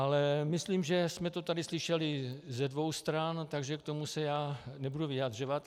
Ale myslím, že jsme to tady slyšeli ze dvou stran, takže k tomu se já nebudu vyjadřovat.